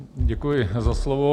Děkuji za slovo.